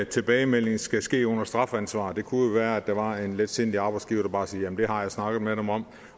tilbagemelding skal ske under strafansvar det kunne jo være at der var en letsindig arbejdsgiver der bare sagde jamen det har jeg snakket med dem om